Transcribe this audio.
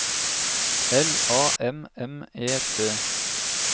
L A M M E T